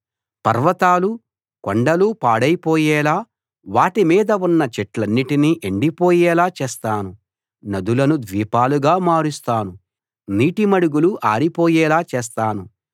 పర్వతాలూ కొండలూ పాడైపోయేలా వాటి మీద ఉన్న చెట్లన్నిటినీ ఎండిపోయేలా చేస్తాను నదులను ద్వీపాలుగా మారుస్తాను నీటి మడుగులు ఆరిపోయేలా చేస్తాను